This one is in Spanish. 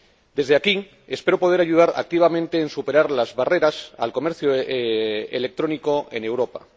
Desde aquí espero poder ayudar activamente a superar las barreras al comercio electrónico en Europa.